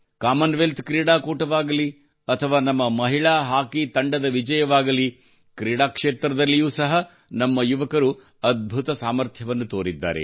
Commonwealth ಕ್ರೀಡಾಕೂಟವಾಗಲಿ ಅಥವಾ ನಮ್ಮ ಮಹಿಳಾ ಹಾಕಿ ತಂಡದ ವಿಜಯವಾಗಲಿ ಕ್ರೀಡಾ ಕ್ಷೇತ್ರದಲ್ಲಿಯೂ ಸಹ ನಮ್ಮ ಯುವಕರು ಅದ್ಭುತ ಸಾಮರ್ಥ್ಯವನ್ನು ತೋರಿದ್ದಾರೆ